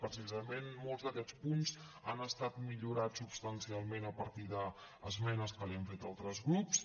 precisament molts d’aquests punts han estat millorats substancialment a partir d’esmenes que li han fet altres grups